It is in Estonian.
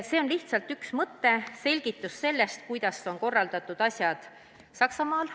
See on lihtsalt üks mõte, selgitus, kuidas on korraldatud asjad Saksamaal.